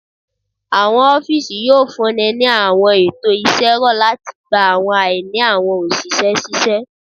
Awọn ọfiisi yoo funni ni awọn eto iṣẹ rọ lati gba awọn aini awọn oṣiṣẹ ṣiṣẹ.